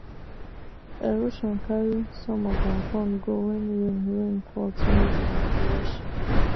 erosion carry some of our corn go when rain rain fall too heavy and rush